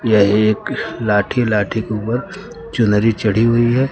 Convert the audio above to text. यह एक लाठी लाठी के ऊपर चुनरी चढ़ी हुई है।